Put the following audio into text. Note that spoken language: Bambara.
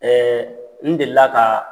Ɛɛ n delila ka